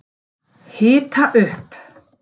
Hita upp